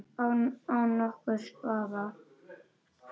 Án nokkurs vafa!